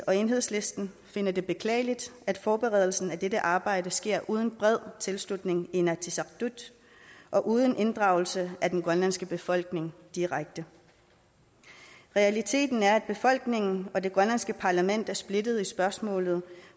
og enhedslisten finder det beklageligt at forberedelsen af dette arbejde sker uden bred tilslutning i inatsisartut og uden inddragelse af den grønlandske befolkning direkte realiteten er at befolkningen og det grønlandske parlament er splittede i spørgsmålet